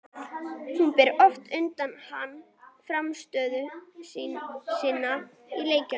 Hún ber oft undir hann frammistöðu sína í leikjum.